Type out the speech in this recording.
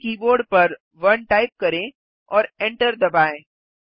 अपने कीबोर्ड पर 1 टाइप करें और एन्टर दबाएँ